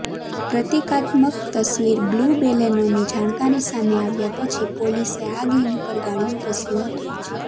પ્રતિકાત્મક તસવીરબ્લૂ બેલેનોની જાણકારી સામે આવ્યા પછી પોલીસે આ ગેંગ પર ગાળિયો કસ્યો હતો